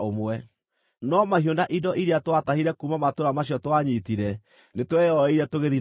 No mahiũ na indo iria twaatahire kuuma matũũra macio twanyiitire nĩtweyoeire tũgĩthiĩ nacio.